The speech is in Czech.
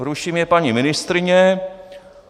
Ruší mě paní ministryně.